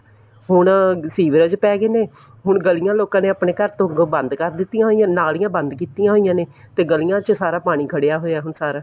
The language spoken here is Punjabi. ਹੁਣ ਸੀਵਰੇਜ ਪੈਗੇ ਨੇ ਹੁਣ ਗਲੀਆਂ ਲੋਕਾਂ ਨੇ ਆਪਣੇ ਤੋਂ ਅੱਗੋਂ ਬੰਦ ਕਰ ਦਿੱਤੀਆਂ ਨੇ ਹੋਇਆ ਨੇ ਨਾਲੀਆਂ ਬੰਦ ਕੀਤੀਆਂ ਹੋਈਆਂ ਨੇ ਤੇ ਗਲੀਆਂ ਚ ਸਾਰਾ ਪਾਣੀ ਖੜਿਆ ਹੋਇਆ ਹੁਣ ਸਾਰਾ